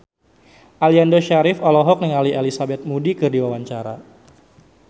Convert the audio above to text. Aliando Syarif olohok ningali Elizabeth Moody keur diwawancara